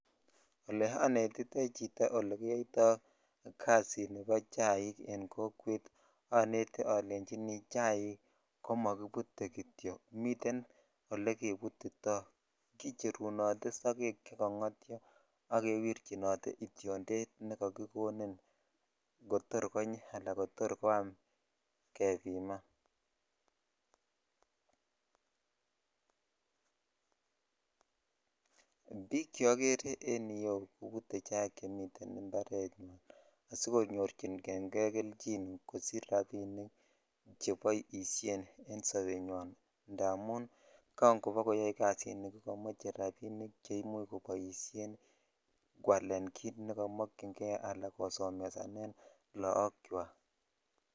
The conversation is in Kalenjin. Ole onetitoi chito ole kiyoito kasini ni bo chaik en kokwet onete olenchi chaik komokibute kityok miten ole kebututo kicherunote sogek chekongotyo ak kewichinote ityonded nekokikonin kotor konyi ala koam kebiman ( puse) bik cheokere en yuu kobute chemite impar asikonyorcinen kei kelychin kosich rabinik che boishoni en sobenywan indamin kan kobokoyo kazini ko komoche rabinik che imuch koboishen kalen kit ne komokyin kei ala kosomesanen lok chwak.